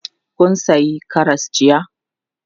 Kun sayi karas jiya?